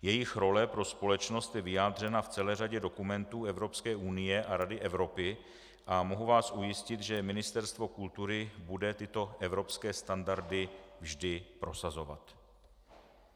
Jejich role pro společnost je vyjádřena v celé řadě dokumentů Evropské unie a Rady Evropy a mohu vás ujistit, že Ministerstvo kultury bude tyto evropské standardy vždy prosazovat.